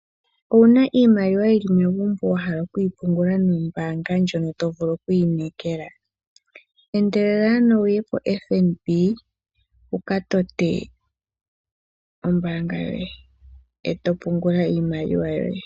Owuna iimaliwa yili megumbo wahala okuyi pungula nombanga ndyono tovulu oku inekela endelela ano wuye poFNB wuka tote ombanga yoye eto pungula iimaliwa yoye.